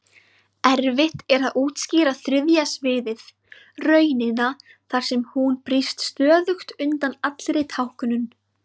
Erfitt er að útskýra þriðja sviðið, raunina þar sem hún brýst stöðugt undan allri táknun.